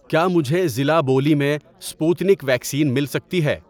کیا مجھے ضلع بولی۔ میں سپوتنک ویکسین مل سکتی ہے؟